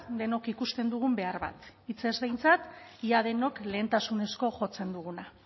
denok ikusten dugun behar bat hitzez behintzat ia denok lehentasunezko jotzen duguna